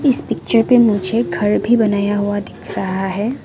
इस पिक्चर पे मुझे घर भी बनाया हुआ दिख रहा है।